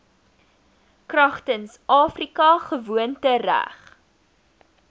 kragtens afrika gewoontereg